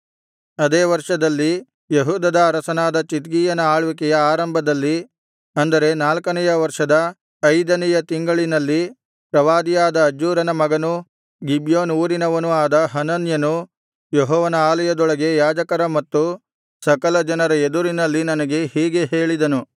ಅದೇ ವರ್ಷದಲ್ಲಿ ಯೆಹೂದದ ಅರಸನಾದ ಚಿದ್ಕೀಯನ ಆಳ್ವಿಕೆಯ ಆರಂಭದಲ್ಲಿ ಅಂದರೆ ನಾಲ್ಕನೆಯ ವರ್ಷದ ಐದನೆಯ ತಿಂಗಳಲ್ಲಿ ಪ್ರವಾದಿಯಾದ ಅಜ್ಜೂರನ ಮಗನೂ ಗಿಬ್ಯೋನ್ ಊರಿನವನೂ ಆದ ಹನನ್ಯನು ಯೆಹೋವನ ಆಲಯದೊಳಗೆ ಯಾಜಕರ ಮತ್ತು ಸಕಲಜನರ ಎದುರಿನಲ್ಲಿ ನನಗೆ ಹೀಗೆ ಹೇಳಿದನು